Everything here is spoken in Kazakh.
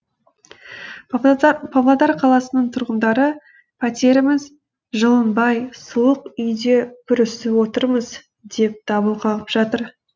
павлодар қаласының тұрғындары пәтеріміз жылынбай суық үйде бүрісіп отырмыз деп дабыл қағып жатыр